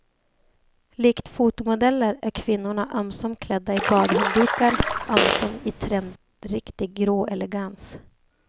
Likt fotomodeller är kvinnorna ömsom klädda i badhanddukar, ömsom i trendriktig grå elegans.